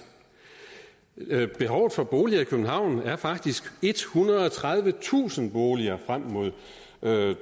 behovet for boliger i københavn er faktisk ethundrede og tredivetusind boliger frem mod